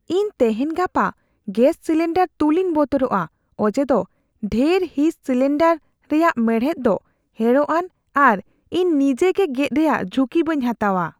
ᱤᱧ ᱛᱮᱦᱮᱧ ᱜᱟᱯᱟ ᱜᱮᱥ ᱥᱤᱞᱤᱱᱰᱟᱨ ᱛᱩᱞᱤᱧ ᱵᱚᱛᱚᱨᱚᱜᱼᱟ ᱚᱡᱮ ᱫᱚ ᱰᱷᱮᱨ ᱦᱤᱸᱥ ᱥᱤᱞᱤᱱᱰᱟᱨ ᱨᱮᱭᱟᱜ ᱢᱮᱬᱦᱮᱫ ᱫᱚ ᱦᱮᱲᱚᱜᱼᱟᱱ ᱟᱨ ᱤᱧ ᱱᱤᱡᱮᱜᱮ ᱜᱮᱫ ᱨᱮᱭᱟᱜ ᱡᱷᱩᱠᱤ ᱵᱟᱹᱧ ᱦᱟᱛᱟᱣᱟ ᱾